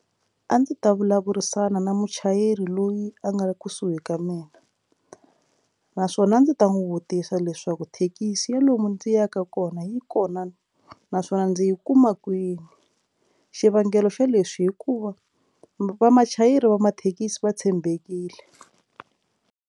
A ndzi ta vulavurisana na muchayeri loyi a nga kusuhi ka mina naswona a ndzi ta n'wi vutisa leswaku thekisi ya lomu ndzi yaka kona yi kona naswona ndzi yi kuma kwini xivangelo xo lexi hikuva vamachayeri va mathekisi va tshembekile.